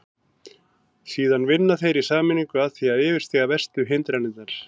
Síðan vinna þeir í sameiningu að því að yfirstíga verstu hindranirnar.